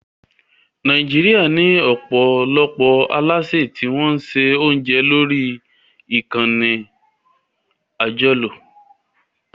Nàìjíríà ní ọ̀pọ̀lọpọ̀ alásè tí wọ́n ń se oúnjẹ lórí ìkànnì àjọlò